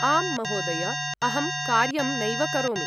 आम्, महोदय। अहं कार्यं नैव करोमि।